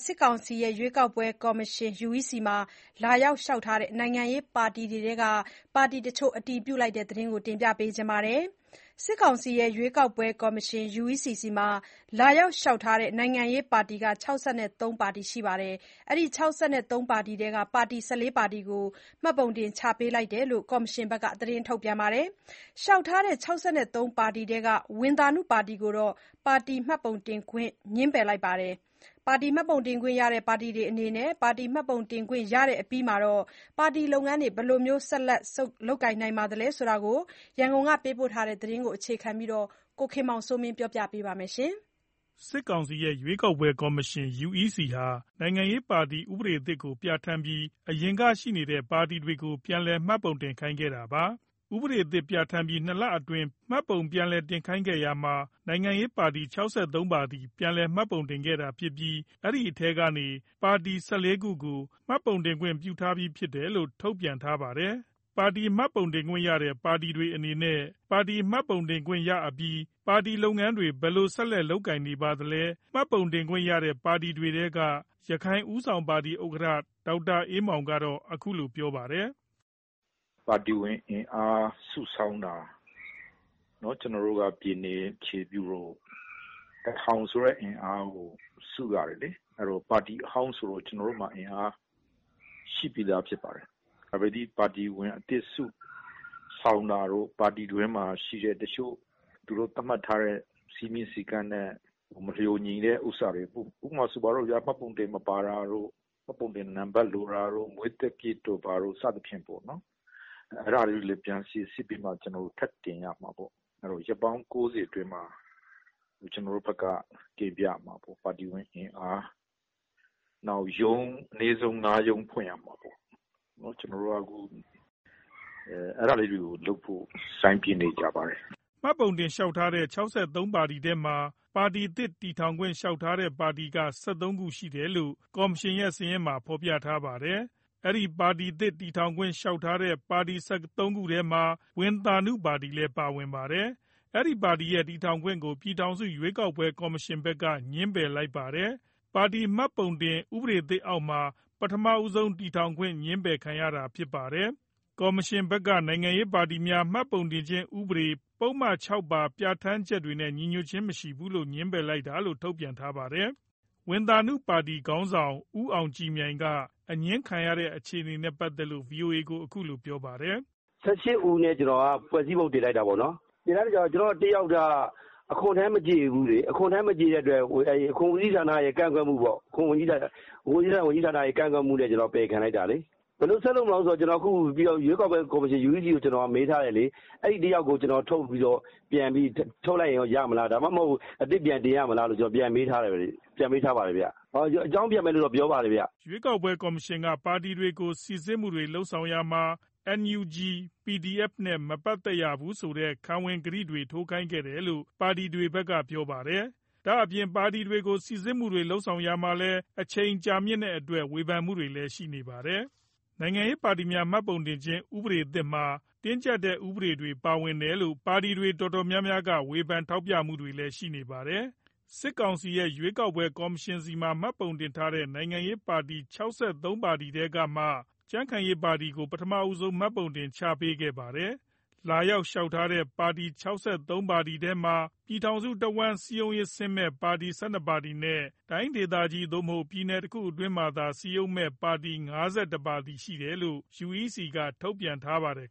စစ်ကောင်စီရဲ့ ရွေးကောက်ပွဲကော်မရှင် UEC မှာ လာရောက်လျှောက်ထားတဲ့ နိုင်ငံရေးပါတီ ၆၃ ပါတီရှိတဲ့အထဲကနေ ပါတီ ၁၄ ခုကိုမှတ်ပုံတင်ချပေးထားတယ်လို့ ကော်မရှင်က ထုတ်ပြန် ထားပါတယ်။ လျှောက်ထားတဲ့ ၆၃ ပါတီထဲက ဝံသာနုပါတီကိုတော့ ပါတီမှတ်ပုံတင်ခွင့်ငြင်းပယ် လိုက်ပါတယ်။ ပါတီမှတ်ပုံတင်ခွင့်ရတဲ့ ပါတီတွေအနေနဲ့ ပါတီမှတ်ပုံတင်ခွင့်ရအပြီး ပါတီလုပ်ငန်းတွေ ဘယ်လိုဆက်လက်လုပ်ကိုင်နေပါသလဲ ဒီအကြောင်း ရန်ကုန်က သတင်းပေးပို့ထားတာကို အခြေခံပြီး ကိုခင်မောင်စိုးမင်း ကပြောပြမှာပါ။ စစ်ကောင်စီရဲ့ ရွေးကောက်ပွဲကော်မရှင် UEC ဟာ နိုင်ငံရေးပါတီ ဥပဒေသစ်ကိုပြဌာန်းပြီး အရင်ကရှိနေတဲ့ပါတီတွေကို ပြန်လည်မှတ်ပုံတင်ခိုင်းခဲ့တာပါ။ ဥပဒေသစ် ပြဌာန်းပြီး ၂ လအတွင်း မှတ်ပုံပြန်တင်ခိုင်းခဲ့တာမှာ နိုင်ငံရေးပါတီ ၆၃ ပါတီ ပြန်လည်မှတ်ပုံတင်ခဲ့တာဖြစ်ပြီး အဲဒီထဲကနေ ပါတီ ၁၄ ခုကို မှတ်ပုံတင်ခွင့်ပြုထားပြီလို့ထုတ်ပြန်ထားပါတယ်။ ပါတီမှတ်ပုံတင်ခွင့်ရတဲ့ ပါတီတွေအနေနဲ့ ပါတီမှတ်ပုံတင်ခွင့်ရအပြီး ပါတီလုပ်ငန်းတွေ ဘယ်လိုဆက် လက်လုပ်ကိုင်နေပါသလဲ မှတ်ပုံတင်ခွင့်ရတဲ့ပါတီတွေထဲက ရခိုင်ဦးဆောင်ပါတီ ဥက္ကဌ ဒေါက်တာ အေးမောင်ကတော့ ခုလိုပြောပြပါတယ်။ "ပါတီဝင်အင်အားစုဆောင်းတာ၊ ကျနော်တို့ကပြည်နယ်အခြေပြုမို့ ၁၀၀၀ဆိုတဲ့ အင်အားကိုစုရ တယ်လေ။ ပါတီအဟောင်းမို့ ကျနော်တို့ မှာရှိပြီးသားဖြစ်ပါတယ်။ ပကတိပါတီဝင်အသစ်စုဆောင်း တာတို့ ပါတီတွင်းမှာရှိတဲ့သူတို့သတ်မှတ်ထားတဲ့ စည်းမျဉ်းစည်းကမ်းနဲ့မလျှော်ညီတဲ့ဥစ္စာတွေပေါ့ ဥပမာ မှတ်ပုံတင်မပါတာတို့ မှတ်ပုံတင်လိုတာတို့ မွေးသက္ကရာဇ်တို့ အဲဒါတွေပြန်စိစစ်ပြီးထပ်တင် ရမှာပေါ့။ ရက်ပေါင်း ၉၀ အတွင်းထပ်တင်ရမှာပေါ့။ နောက်ရုံးအနည်းဆုံး ၅ရုံးထပ်ဖွင့်ရမှာပေါ့ ခုတော့အဲဒါလေးတွေကျနော်တို့လုပ်နေပါတယ်။" မှတ်ပုံတင်လျှောက်ထားတဲ့ ၆၃ပါတီထဲမှာ ပါတီသစ်တည်ထောင်ခွင့်လျှောက်ထားတဲ့ ပါတီ ဟာ ၁၃ ခုရှိ တယ် လို့ ကော်မရှင်ရဲ့စာရင်းတွေမှာ ဖော်ပြထားပါတယ်။ အဲဒီပါတီသစ်တည်ထောင်ခွင့်လျှောက် ထားတဲ့ ပါတီ ၁၃ ခုထဲမှာ ဝံသာနု ပါတီလည်းပါဝင်ပါတယ်။ အဲဒီပါတီရဲ့ တည်ထောင်ခွင့်ကို ပြည်ထောင် စု ရွေးကောက်ပွဲကော်မရှင်ဘက်က ငြင်းပယ်လိုက်ပါတယ်။ပါတီမှတ်ပုံတင် ဥပဒေ သစ် အောက်မှာ ပထမဆုံး တည်ထောင်ခွင့် ငြင်းပယ်ခံရတာ ဖြစ်ပါတယ်။ ကော်မရှင်ဘက်ကနိုင်ငံရေးပါတီများမှတ်ပုံတင်ခြင်းဥပဒေ ပုဒ်မ ၆ ပါ ပြဋ္ဌာန်းချက်တွေနဲ့ ညီညွတ်ခြင်း မရှိလို့ ငြင်းလိုက်တာလို့ ထုတ်ပြန် ထားပါတယ်။ ဝံသာနု ပါတီ ခေါင်းဆောင်ဦးအောင်ကြည်မြိုင်က အငြင်းခံလိုက်ရတဲ့အခြေအနေနေနဲ့ပတ်သတ်လို့ ဗွီအိုအေကို ခုလိုပြောပြလာပါတယ်။ "၁၈ ဦးနဲ့ ကျနော်တို့က ဖွဲ့စည်းပုံတင်လိုက်တာပေါ့နော်။ အဲထဲမှာ တယောက်က အခွန်ထမ်းမကျေဘူးပေါ့ အဲတော့အခွန်ဦးစီးဌာနရဲ့ကန့်ကွက်မှုပေါ့။ ဝန်ကြီးဌာနကန့်ကွက်မှုနဲ့ ကျနော်တို့ပယ်ခံလိုက်ရ တာပေါ့၊ ဘယ်လိုဆက်လုပ်မလဲဆိုတာ ရွေးကောက်ပွဲကော်မရှင် ကိုမေးထားတယ်။ အဲတယောက် ကိုထုတ်လိုက်ရင်ရလား ဒါမှမဟုတ်အသစ်ပြန်တင်ရမလား မေးထားတယ်။ အကြောင်းပြန်မယ် ပြောထားပါတယ်။ ရွေးကောက်ပွဲ ကော်မရှင်က ပါတီတွေကို စိစစ်မှုတွေ လုပ်ရာမှာလည်း NUG PDF နဲ့ မပတ်သက်ရဘူး ဆိုတဲ့ ခံဝန်ကတိတွေ ထိုးခိုင်းတယ်လို့ ပါတီတွေဘက်က ပြောကြားပါတယ်။ ဒါ့အပြင် ပါတီတွေကို စိစစ်ရာမှာလည်း အချိန်ကြာမြင့်တဲ့ အတွက် ဝေဖန်မှုတွေလည်း ရှိနေပါတယ်။ နိုင်ငံရေးပါတီများမှတ်ပုံတင်ခြင်းဥပဒေသစ်မှာ တင်းကျပ်တဲ့ဥပဒေတွေပါဝင်တယ်လို့ ပါတီတွေတော်တော်များများကဝေဖန်ထောက်ပြမှုတွေလည်းရှိနေပါတယ်။ စစ်ကောင်စီ ရဲ့ ရွေးကောက်ပွဲ ကော်မရှင်ဆီမှာ မှတ်ပုံတင်ထားတဲ့ နိုင်ငံရေး ပါတီ ၆၃ ပါတီထဲကမှ ကြံ့ခိုင်ရေး ပါတီကို ပထမဆုံး မှတ်ပုံတင်ချပေးခဲ့ပါတယ်။ လာရောက်လျှောက်ထားတဲ့ ပါတီ ၆၃ပါတီထဲမှာ ပြည်ထောင်စုတဝန်းလုံးစည်းရုံးမယ့်ပါတီ ၁၂ ပါတီနဲ့ တိုင်းဒေသကြီး ပြည်နယ်တစ်ခုအတွင်း၌သာ စည်းရုံးမယ့်ပါတီ ၅၁ ပါတီရှိတယ်လို့ UECက ထုတ်ပြန်ထားပါတယ်